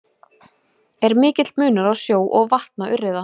Er mikill munur á sjó- og vatnaurriða?